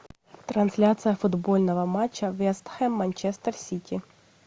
трансляция футбольного матча вест хэм манчестер сити